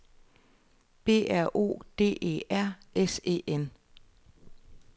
B R O D E R S E N